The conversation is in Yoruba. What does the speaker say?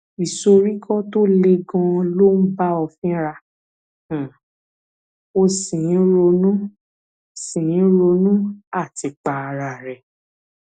ìsoríkọ tó le ganan ló ń bá ọ fínra um o sì ń ronú sì ń ronú àtipa ara rẹ